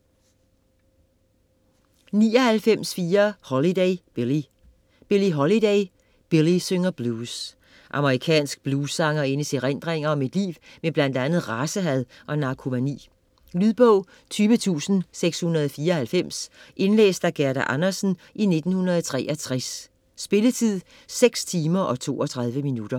99.4 Holiday, Billie Holiday, Billie: Billie synger blues Amerikansk bluessangerindes erindringer fra et liv med bl. a. racehad og narkomani. Lydbog 20694 Indlæst af Gerda Andersen, 1963. Spilletid: 6 timer, 32 minutter.